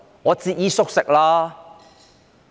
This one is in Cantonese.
我正在節衣縮食。